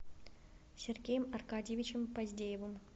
сергеем аркадьевичем поздеевым